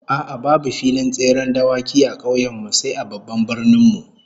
A'a, babu filin tseren dawaki a kauyen mu sai a babban birnin mu